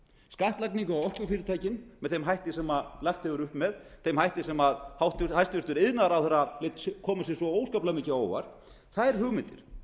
skattlagningu á orkufyrirtækin með þeim hætti sem lagt hefur verið upp með þeim hætti sem hæstvirtur iðnaðarráðherra lét koma sér svo óskaplega mikið á óvart þær hugmyndir